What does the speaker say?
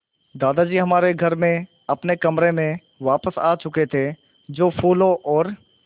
दादाजी हमारे घर में अपने कमरे में वापस आ चुके थे जो फूलों और